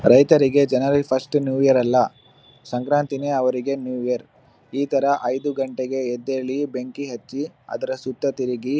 ರೈತರಿಗೆ ಜನವರಿ first new year ಅಲ್ಲಾ ಸಂಕ್ರಾಂತಿನೆ ಅವರಿಗೆ ನ್ಯೂ ಇಯರ್ ಇತರ ಐದು ಗಂಟೆಗೆ ಎದ್ದೇಳಿ ಬೆಂಕಿ ಹಚ್ಚಿ ಅದ್ರ ಸುತ್ತ ತಿರುಗಿ .